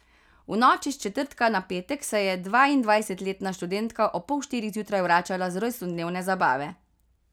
V noči s četrtka na petek se je dvaindvajsetletna študentka ob pol štirih zjutraj vračala z rojstnodnevne zabave.